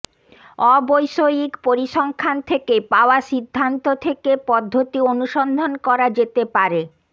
অবৈষয়িক পরিসংখ্যান থেকে পাওয়া সিদ্ধান্ত থেকে পদ্ধতি অনুসন্ধান করা যেতে পারে